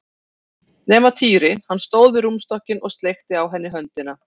Nema Týri, hann stóð við rúmstokkinn og sleikti á henni höndina.